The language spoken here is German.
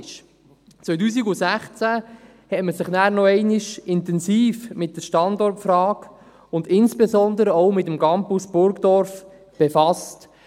2016 hat man sich dann noch einmal intensiv mit der Standortfrage und insbesondere auch mit dem Campus Burgdorf befasst.